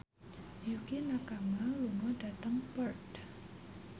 Yukie Nakama lunga dhateng Perth